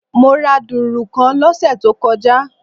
Mo ra dùrù kan lósè tó kojá